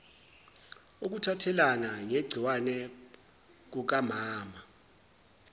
ukuthathelana ngegciwane kukamama